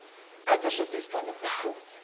uiterste toestande voorkom